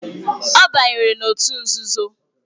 Ọ banyere na òtù nzuzo.